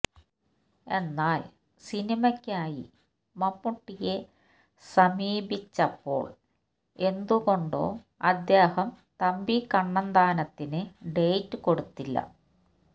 എന്നാൽ സിനിമയ്ക്കായി മമ്മൂട്ടിയെ സമീപിച്ചപ്പോൾ എന്തുകൊണ്ടോ അദ്ദേഹം തമ്പി കണ്ണന്താനത്തിന് ഡേറ്റ് കൊടുത്തില്ല